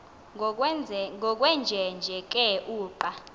ngokwenjenje ke uqa